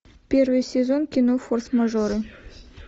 первый сезон кино форс мажоры